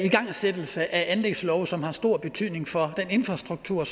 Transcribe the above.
igangsættelse af anlægslove som har stor betydning for den infrastruktur